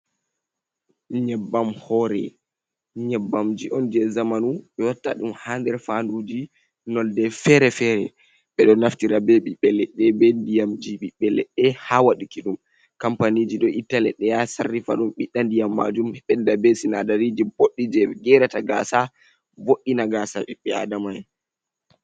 Nyebbam hore nyebbamji on je zamanu be watta dum hander fanduji nolde fere-fere, bedo naftirabe bibele de be diam gbi belede ha waduki dum kampaniji do itale de ya sarrifadum biddandiyam majum bedda be sinadariji boddi je gerata gasa vod’ina gasa bibbe adama en.